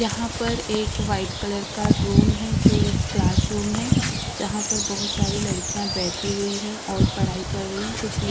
यहाँ पर एक वाइट कालर का रूम है जो एक क्लासरूम है जहाँ पे बहुत सारी लड़कियां बैठी हुई है और पढ़ाई कर रही है कुछ लिख --